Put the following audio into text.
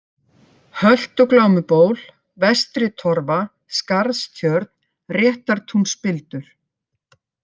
Höltuglámuból, Vestritorfa, Skarðstjörn, Réttartúnsspildur